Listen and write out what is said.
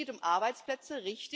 Es geht um Arbeitsplätze.